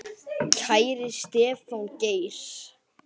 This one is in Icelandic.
Kæri Stefán Geir.